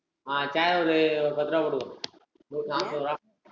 ஆஹ் chair ஒரு பத்து ரூபாய் போட்டுக்கோ நூத்தி நாப்பது டா